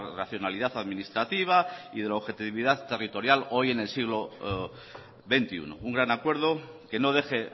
racionalidad administrativa y de la objetividad territorial hoy en el siglo veintiuno un gran acuerdo que no deje